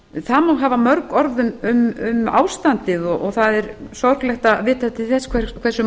má hafa mörg orð um ástandið og það er sorglegt að vita til þess hversu